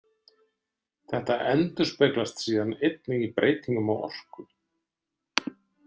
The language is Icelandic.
Þetta endurspeglast síðan einnig í breytingum á orku.